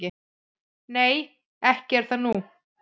"""Nei, ekki er það nú."""